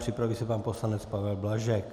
Připraví se pan poslanec Pavel Blažek.